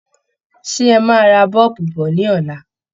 Ṣé ẹ máa ra bọ́ọ̀bù bọ̀ ní ọ̀la?